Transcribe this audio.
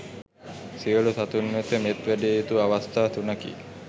සියලු සතුන් වෙත මෙත් වැඩිය යුතු අවස්ථා තුනකි.